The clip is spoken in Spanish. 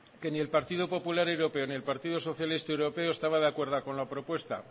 que ni el partido popular europeo ni el partido socialista europeo estaban de acuerdo con la propuesta